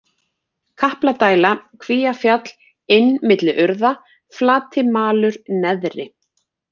Kapladæla, Kvíafjall, Inn milli urða, Flatimalur - neðri